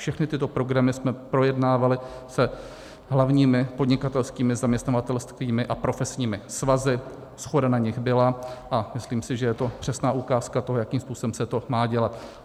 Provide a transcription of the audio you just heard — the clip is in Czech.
Všechny tyto programy jsme projednávali s hlavními podnikatelskými, zaměstnavatelskými a profesními svazy, shoda na nich byla a myslím si, že je to přesná ukázka toho, jakým způsobem se to má dělat.